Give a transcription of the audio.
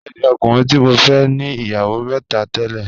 Bẹẹ̀ni, ọ̀kùnrin ti mọ fẹ̀ ní iyáwó mẹ́tà tẹ̀lẹ̀